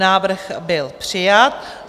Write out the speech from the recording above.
Návrh byl přijat.